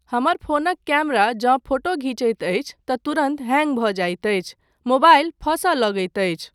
हमर फोनक कैमरा जँ फोटो घीचैत अछि तँ तुरन्त हैंग भऽ जाइत अछि, मोबाइल फसय लगैत अछि।